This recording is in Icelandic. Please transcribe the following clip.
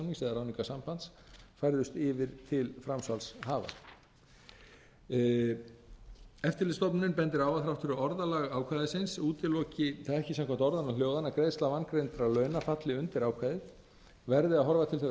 ráðningarsambands færðust yfir til framsalshafa eftirlitsstofnunin bendir á að þrátt fyrir að orðalag ákvæðisins útiloki það ekki samkvæmt orðanna hljóðan að greiðsla vangreiddra launa falli undir ákvæðið verði að horfa til þeirrar